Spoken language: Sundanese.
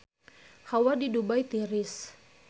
Hawa di Dubai tiris